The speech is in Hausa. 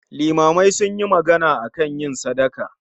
Limamai sunyi magana akan yin sadaka